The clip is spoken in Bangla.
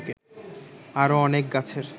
আরো অনেক গাছের